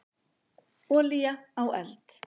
Olía á eld.